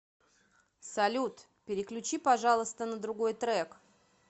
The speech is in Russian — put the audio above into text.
салют переключи пожалуйста на другой трек